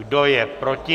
Kdo je proti?